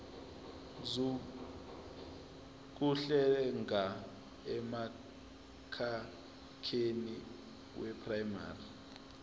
zokuhlenga emkhakheni weprayimari